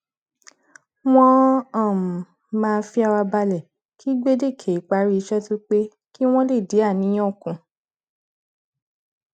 wọn um máa fi ara balẹ kí gbèdéke ìparí iṣẹ tó pé kí wọn lè dín àníyàn kù